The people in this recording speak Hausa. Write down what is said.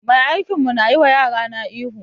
Mai aikin mu na yi wa yarana ihu